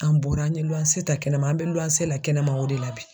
An bɔra an ye ta kɛnɛma .An be la kɛnɛma o de la bi.